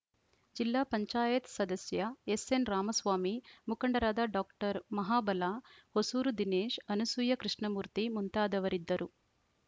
ಜಿಲ್ಲಾ ಪಂಚಾಯತ್ ಸದಸ್ಯ ಎಸ್‌ಎನ್‌ ರಾಮಸ್ವಾಮಿ ಮುಖಂಡರಾದ ಡಾಕ್ಟರ್ ಮಹಾಬಲ ಹೊಸೂರು ದಿನೇಶ್‌ ಅನಸೂಯ ಕೃಷ್ಣಮೂರ್ತಿ ಮುಂತಾದವರಿದ್ದರು